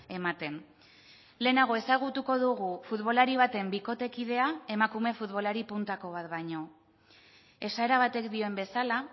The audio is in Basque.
ematen lehenago ezagutuko dugu futbolari baten bikotekidea emakume futbolari puntako bat baino esaera batek dioen bezala